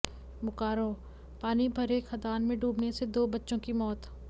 बोकारोः पानी भरे खदान में डूबने से दो बच्चों की मौत